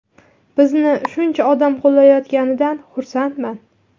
Bizni shuncha odam qo‘llayotganidan xursandman.